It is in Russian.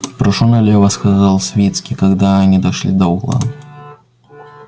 прошу налево сказал свицкий когда они дошли до угла